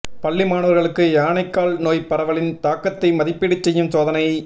பள்ளி மாணவா்களுக்கு யானைகால் நோய் பரவலின் தாக்கத்தை மதிப்பீடு செய்யும் சோதனை